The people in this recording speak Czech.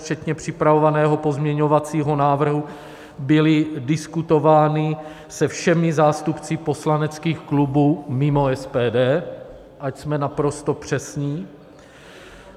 Včetně připravovaného pozměňovacího návrhu byly diskutovány se všemi zástupci poslaneckých klubů, mimo SPD, ať jsme naprosto přesní.